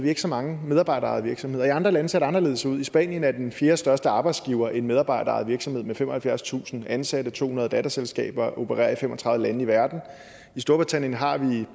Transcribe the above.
ikke så mange medarbejderejede virksomheder i andre lande ser det anderledes ud i spanien er den fjerde største arbejdsgiver en medarbejderejet virksomhed med femoghalvfjerdstusind ansatte og to hundrede datterselskaber og opererer i fem og tredive lande i verden i storbritannien har vi